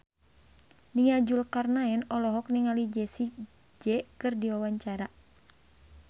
Nia Zulkarnaen olohok ningali Jessie J keur diwawancara